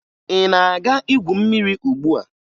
Ị na-aga igwu mmiri ugbua?